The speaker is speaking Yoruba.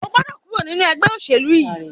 O gbọ́dọ̀ kúrò nínu ẹgbẹ́ òṣèlú yìí!